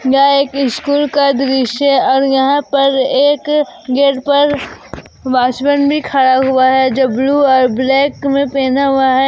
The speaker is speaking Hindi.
यह एक स्कूल का दृश्य और यहां पर एक गेट पर वॉचमैन भी खड़ा हुआ है जो ब्लू और ब्लैक में पहना हुआ है।